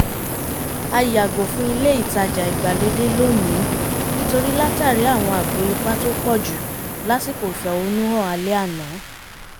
a yàgò fún ilé ìtajà ìgbàlódé lónìí nítorí látàrí àwọn ààbọ̀ ipá tó pọ̀jù lásìkò ìfẹ̀hónúhàn alẹ́ àná